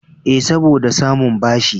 Eh, saboda samun bashi.